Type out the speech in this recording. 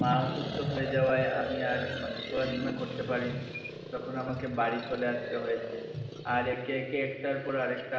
মা অসুস্থ হয়ে যাওয়ায় আমি আর মানে পড়াশোনা করতে পারি নি তখ আমাকে বাড়ি চলে আসতে হয়েছে আর একে একে একটার পর আরেকটা